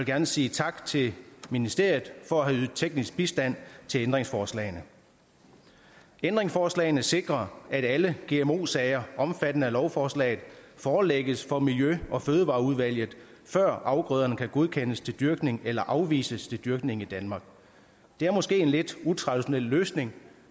gerne sige tak til ministeriet for at have ydet teknisk bistand til ændringsforslagene ændringsforslagene sikrer at alle gmo sager omfattet af lovforslaget forelægges for miljø og fødevareudvalget før afgrøderne kan godkendes til dyrkning eller afvises til dyrkning i danmark det er måske en lidt utraditionel løsning